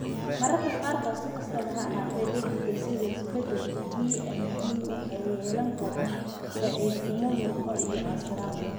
Mararka qaarkood, si kastaba ha ahaatee, dheddigga sidda isbeddelka DMD waxay yeelan karaan daciifnimo murqo iyo casiraad.